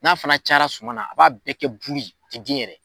N'a fana cayara suma na a b'a bɛɛ kɛ bulu ye a tɛ den yɛrɛ.